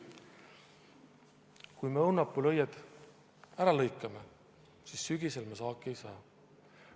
Kui me õunapuul õied ära lõikame, siis sügisel me saaki ei saa.